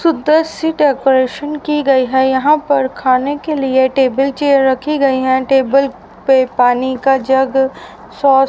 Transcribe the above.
सुंदर सी डेकोरेशन की गई है यहां पर खाने के लिए टेबल चेयर रखी गई है टेबल पे पानी का जग सॉस --